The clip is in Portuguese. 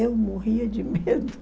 Eu morria de medo.